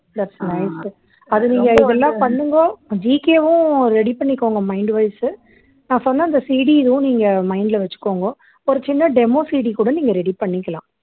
thats nice அது நீங்க இதெல்லாம் பண்ணுங்கோ GK வும் ready பண்ணிக்கோங்க mind wise உ நான் சொன்ன அந்த CD இதுவும் நீங்க mind ல வச்சுக்கோங்கோ ஒரு சின்ன demoCD கூட நீங்க ready பண்ணிக்கலாம்